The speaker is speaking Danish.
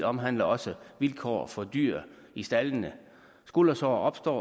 omhandler også vilkår for dyr i staldene skuldersår opstår